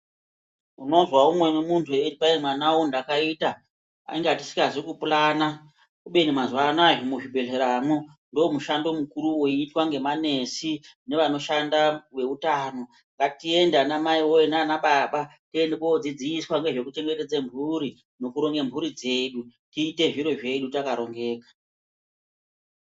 Unomzwa umwe wemuntu eiti mwana wangu mdakaita tanga tisingazivi kupurana kubeni mazuvano aya muzvibhedhleramo ndoo mushando mukuru woitwa nemanesi nevanoshanda veutano ngatiende ana mai nanababa tinodzidziswa nezvekuchengetedza mhuri nekuronge mhuri dzedu tiite zviro zvedu takarongeka.